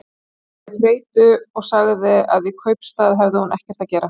Hún bar við þreytu og sagði að í kaupstað hefði hún ekkert að gera.